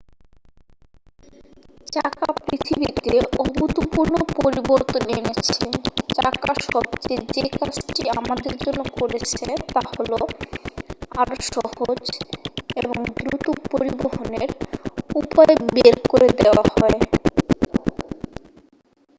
চাকা পৃথিবীতে অভূতপূর্ব পরিবর্তন এনেছে চাকা সবচেয়ে যে কাজটি আমাদের জন্য করেছে তা হল আরও সহজ এবং দ্রুত পরিবহণের উপায় করে দেওয়া হয়